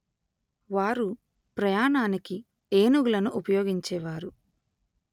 వారు ప్రయాణానికి ఏనుగులను ఉపయోగించేవారు